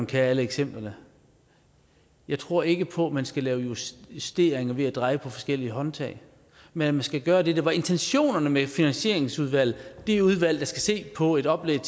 kender alle eksemplerne jeg tror ikke på at man skal lave justeringer justeringer ved at dreje på forskellige håndtag men at man skal gøre det der var intentionerne med finansieringsudvalget det udvalg der skal se på et oplæg